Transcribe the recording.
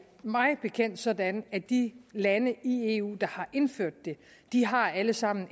mig bekendt sådan at de lande i eu der har indført det alle sammen